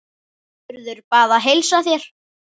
Urður bað að heilsa þér.